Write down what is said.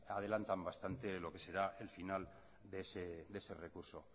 adelantan bastante lo que será el final de ese recurso